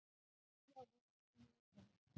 Halli á viðskiptum við útlönd